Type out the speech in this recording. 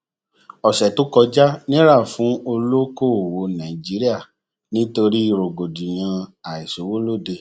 ọṣẹ tó kọjá nira fún olóòkòwò nàìjíríà nítorí rògbòdìyàn àìsówólóde